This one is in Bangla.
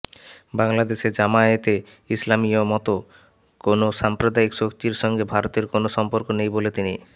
বাংলাদেশে জামায়াতে ইসলামীর মতো কোনো সাম্প্রদায়িক শক্তির সঙ্গে ভারতের কোনো সম্পর্ক নেই বলে তিনি